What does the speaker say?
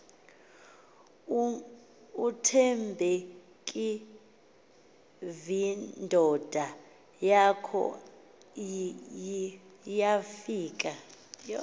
uthembekevindoda yakhe yafika